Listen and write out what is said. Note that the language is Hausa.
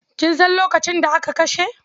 Kin san lokacin da aka kashe?